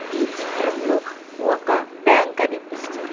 ఈ చిత్రంలో ఒక బ్యాంక్ కనిపిస్తు--